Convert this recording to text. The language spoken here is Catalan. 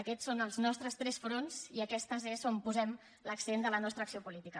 aquests són els nostres tres fronts i és on posem l’accent de la nostra acció política